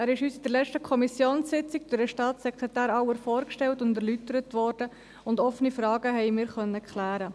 Er wurde uns an der letzten Kommissionssitzung durch Staatssekretär Auer vorgestellt und erläutert, und wir konnten offene Fragen klären.